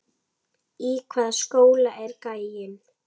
Í hvaða skóla er gæinn?